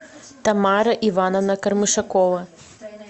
тамара ивановна кармышакова